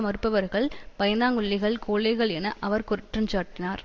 மறுப்பவர்கள் பயந்தாங்கொள்ளிகள் கோழைகள் என அவர் குற்றஞ்சாட்டினார்